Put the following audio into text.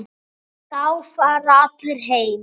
Þá fara allir heim.